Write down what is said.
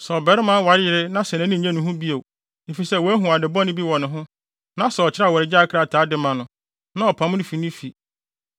Sɛ ɔbarima ware yere na sɛ nʼani nnye ne ho bio, efisɛ wahu ade bɔne bi wɔ ne ho, na sɛ ɔkyerɛw awaregyae krataa de ma no, na ɔpam no fi ne fi,